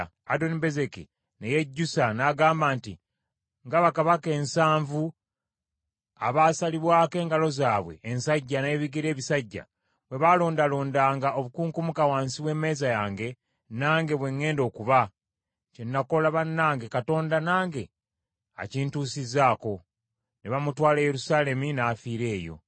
Adonibezeki ne yejjusa n’agamba nti, “Nga bakabaka ensanvu abaasalibwako engalo zaabwe ensajja n’ebigere ebisajja, bwe baalondalondanga obukunkumuka wansi w’emmeeza yange, nange bwe ŋŋenda okuba. Kye nakola bannange Katonda nange akintusizzaako.” Ne bamutwala e Yerusaalemi n’afiira eyo.